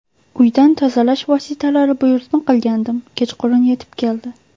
Uydan tozalash vositalari buyurtma qilgandim, kechqurun yetib keldi.